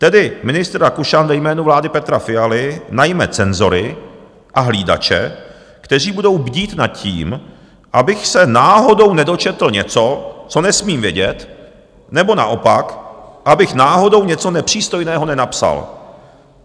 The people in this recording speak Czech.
Tedy ministr Rakušan ve jménu vlády Petra Fialy najme cenzory a hlídače, kteří budou bdít nad tím, abych se náhodou nedočetl něco, co nesmím vědět, nebo naopak, abych náhodou něco nepřístojného nenapsal.